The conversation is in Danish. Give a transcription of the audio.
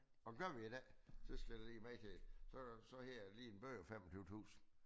Og gør vi det ikke så skal du lige vide chef så øh så hedder det lige en bøde på 25 tusinde